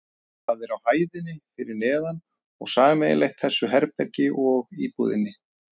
Það er á hæðinni fyrir neðan og sameiginlegt þessu herbergi og íbúðinni.